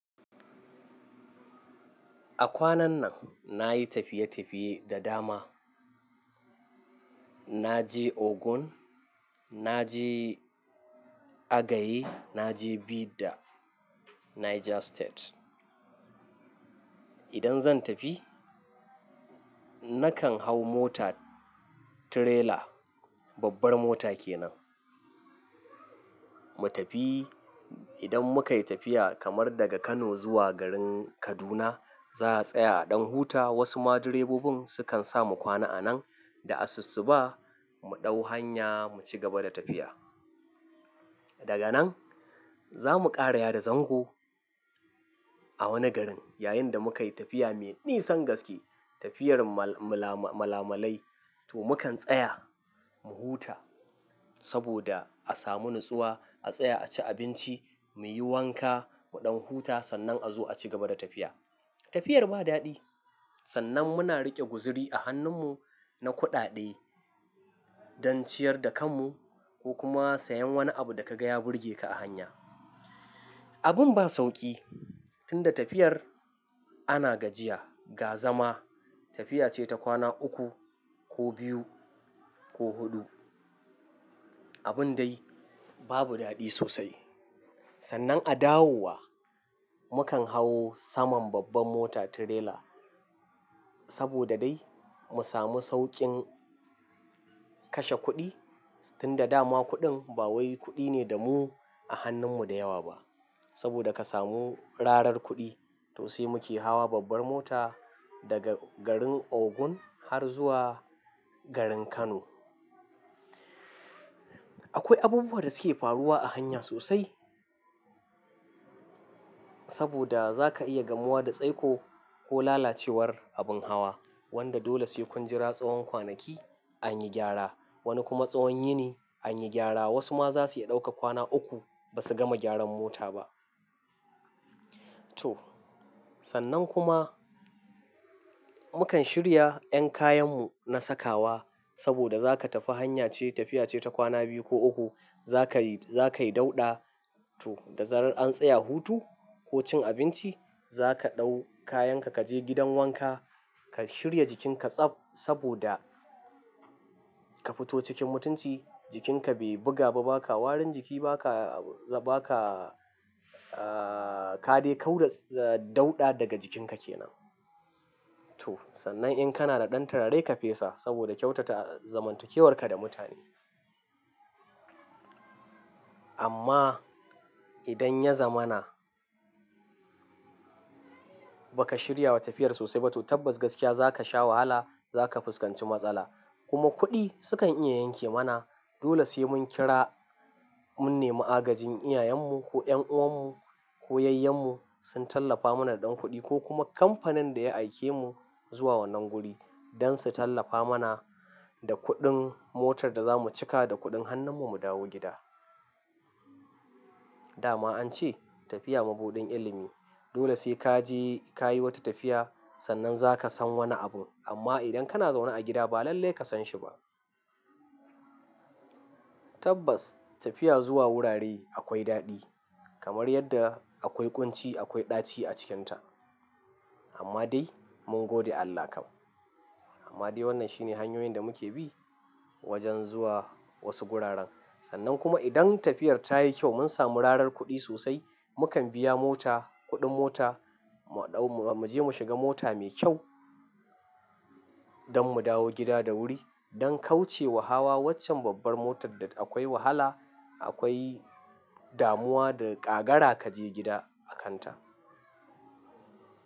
A kwanan nan nayi tafiye-tafiye da dama. Naje Ogun, na je Agaye, naje Bida, Niger State. Idan zan tafi, nakan hau mota tirela, babbar mota kenan. Mu tafi, idan mukayi tafiya kamar daga Kano zuwa garin Kaduna, za'a tsaya a ɗan huta. Wasu ma direbobin sukan sa mu kwana a nan da asussuba, mu ɗau hanya mu ci gaba da tafiya. Daga nan zamu ƙara ya da zango a wani garin yayin da mukayi tafiya mai nisan gaske, tafiyar malamalai, to mukan tsaya mu huta sabida a samu nutsuwa, a tsaya a ci abinci, muyi wanka muɗan huta sannan a zo a ci gaba da tafiya. Tafiyar ba daɗi. Sannan muna riƙe guzuri a hannun mu na kuɗaɗe dan ciyar da kan mu ko kuma sayan wani abu da kaga ya burge ka a hanya. Abun ba sauƙi tunda tafiyar ana gajiya, ga zama, tafiya ce ta kwana uku ko biyu ko huɗu. Abin dai babu daɗi sosai. Sannan a dawowa, mukan hau saman babbar mota tirela sabida dai mu samu sauƙin kashe kuɗi tunda dama kuɗin ba wai kuɗi ne damu a hannun mu da yawa ba. Sabida ka samu rarar kuɗi, to sai muke hawa babbar mota daga garin Ogun har zuwa garin Kano. Akwai abubuwa da suke faruwa a hanya sosai saboda zaka iya gamuwa da tsaiko ko lalacewar abin hawa wanda dole sai kun jira tsawon kwanaki an yi gyara. Wani kuma tsawon yini an yi gyara. Wasu ma zasu iya ɗaukar kwana uku ba su gama gyaran mota ba. To sannan kuma mukan shirya 'yan kayan mu na sakawa sabida zaka tafi hanya ce tafiya ce ta kwana biyu ko uku. Zaka yi, zaka yi dauɗa to da zarar an tsaya hutu ko cin abinci zaka ɗau kayan ka, kaje gidan wanka, ka shirya jikin ka tsaf sabida ka fito cikin mutunci. Jikin ka bai buga ba, baka warin jiki, baka, baka, aa ka dai kau da dauɗa daga jikin ka kenan. To sannan in kana da ɗan turare ka fesa sabida kyautata zamantakewar ka da mutane. Amma idan ya zamana baka shirya wa tafiyar sosai ba to tabbas gaskiya zaka sha wahala, zaka fuskanci matsala. Kuma kuɗi su kan iya yanke mana. Dole sai mun kira, mun nemi agajin iyayen mu ko 'yan'uwan mu ko yayyen mu sun tallafa mana da ɗan kuɗi ko kuma kamfanin da ya aike mu zuwa wannan guri dan su tallafa mana da kuɗin motar da zamu cika da kuɗin hannun mu mu dawo gida. Dama ance tafiya mabuɗin ilimi. Dole sai kaje kayi wata tafiya sannan zaka san wani abun. Amma idan kana zaune a gida ba lallai ka san shi ba. Tabbas tafiya zuwa wurare akwai daɗi kamar yanda akwai ƙunci, akwai ɗaci a cikinta. Amma dai mun gode Allah kam. Amma dai wannan shine hanyoyin da muke bi wajen zuwa wasu guraren. Sannan kuma idan tafiyar tayi kyau mun samu rarar kuɗi sosai, mukan biya mota, kuɗin mota mu ɗau-- muje mu shiga mota mai kyau dan mu dawo gida da wuri dan kauce wa hawa waccan babbar motar da akwai wahala, akwai damuwa da ƙagara kaje gida a kanta.